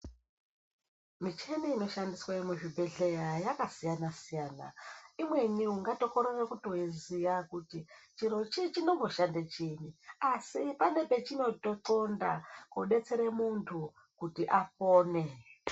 Micheni inoshandiswe muzvibhedhlera yakasiyana siyana, imweni ungatokorere kutoiziya kuti chirochi chinomboshande chiinyi asi pane pechinotoxonda kudetsere muntu kuti apone.